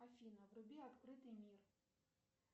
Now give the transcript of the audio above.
афина вруби открытый мир